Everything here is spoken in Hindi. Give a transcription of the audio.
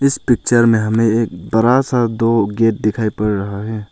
इस पिक्चर में हमे एक बड़ा सा दो गेट दिखाई पड़ रहा है।